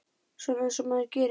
Svona eins og maður gerir.